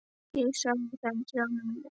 Ég þagði í þrjá mánuði.